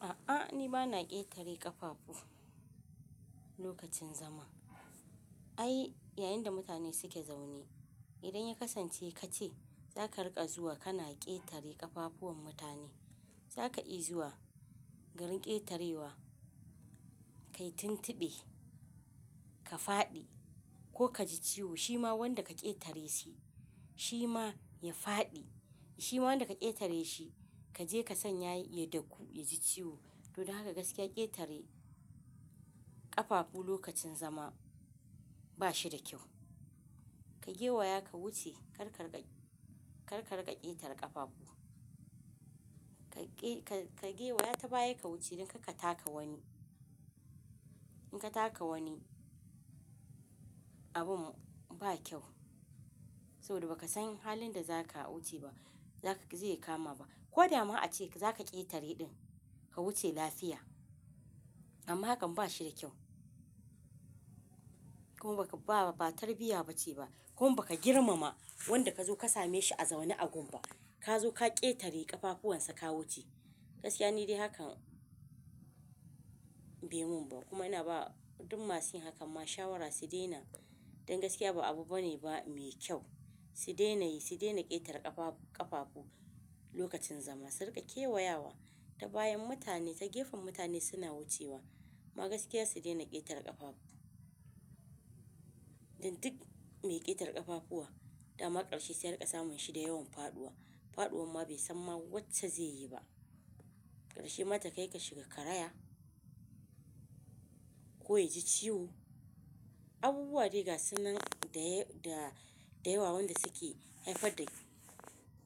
A'a ni bana ƙetare ƙafafu lokacin zama. Ai yayin da mutane suke zaune idan ya kasance kace zaka rika zuwa kana ƙetare ƙafafuwan mutane zaka iya zuwa garin ƙetarewa kayi tuntuɓe ka faɗi ko kaji ciwo shima wanda ka ƙetare shi shima ya faɗi shima wanda ka ƙetare shi kaje kasanya ya daku yaji ciwo. Don haka gaskiya ƙetare ƙafafu lokacin zama ba shi da kyau. Ka gewaya ka wuce kar ka rika ƙetare ƙafafu. Ka gewaya ta baya ka wuce dan karka taka wani. In ka taka wani abun ba kyau saboda ba ka san halin da zaka wuce ba zaka zai kama ba. Ko dama ace zaka ƙetare ɗin ka wuce lafiya amma hakan ba shi da kyau. Kuma ba tarbiyya ba ce ba kuma baka girmama wanda ka zo ka same shi a zaune a gun ba. Ka zo ka ƙetare ƙafafuwan sa ka wuce. Gaskiya ni dai hakan bai mun ba kuma ina ba duk masu yin hakan ma shawara su daina dan gaskiya ba abu bane ba mai kyau. Su daina yi, su daina ƙetare ƙafafu lokacin zama. Su rika kewayawa ta bayan mutane ta gefen mutane suna wucewa. Ma gaskiya su daina ƙetare ƙafafu. Dan duk mai ƙetare ƙafafuwa dama ƙarshe sai an rika samun shi da yawan faɗuwa. Faɗuwan ma bai san ma wacce zai yi ba. Ƙarshe ma takai ka shiga karaya ko ya ji ciwo. Abubuwa de gasu nan da da da yawa wanda suke haifar da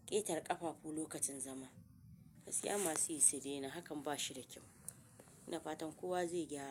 ƙetare ƙafafu lokacin zama. Gaskiya masu yi su daina hakan ba shi da kyau. Ina fatan kowa zai gyara.